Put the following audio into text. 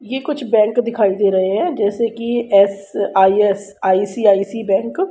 ये कुछ बैंक दिखाई दे रहे हैं जैसे कि एस_आइ_एस_आइ_सी_आइ_सी बैंक --